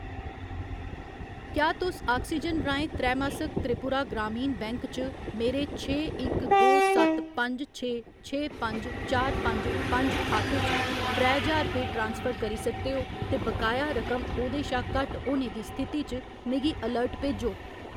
क्या तुस आक्सीजन राहें त्रैमासक त्रिपुरा ग्रामीण बैंक च मेरे छे इक दो सत्त पंज छे छे पंज चार पंज पंज खाते च त्रै ज्हार रपेऽ ट्रांसफर करी सकदे ओ ते बकाया रकम ओह्‌दे शा घट्ट होने दी स्थिति च मिगी अलर्ट भेजो?